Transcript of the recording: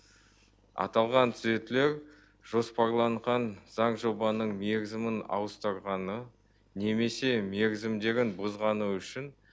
аталған түзетулер жоспарланған заң жобаның мерзімін ауыстырғаны немесе мерзімдерін бұзғаны үшін